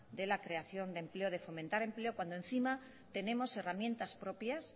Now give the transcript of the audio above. de la creación de empleo de fomentar el empleo cuando encima tenemos herramientas propias